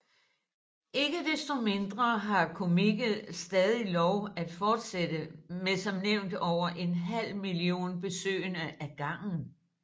Ikke desto mindre har Comiket stadig lov at fortsætte med som nævnt over en halv million besøgende ad gangen